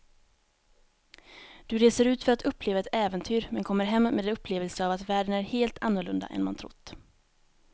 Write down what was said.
Du reser ut för att uppleva ett äventyr men kommer hem med en upplevelse av att världen är helt annorlunda än man trott.